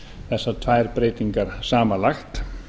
þessar tvær breytingar samanlagt